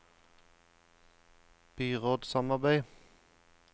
byrådssamarbeid